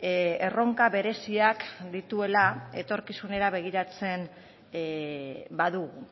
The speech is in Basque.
erronka bereziak dituela etorkizunera begiratzen badugu